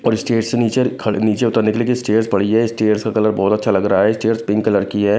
और स्टेज से नीचे खड़ नीचे उतरने के लिए भी स्टेयर्स पड़ी है स्टेयर्स का कलर बहुत अच्छा लग रहा है स्टेयर्स पिंक कलर की है।